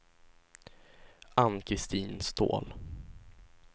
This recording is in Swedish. Ann-Kristin Ståhl